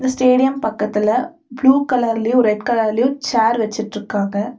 Stadium பக்கத்தில blue கலர்லயு red கலர்லயு சேர் வெச்சிட்ருக்காங்க.